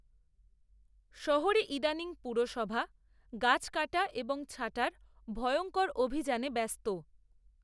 শহরে ইদানীং, পুরসভা, গাছ, কাটা, এবং ছাঁটার ভয়ঙ্কর অভিযানে ব্যস্ত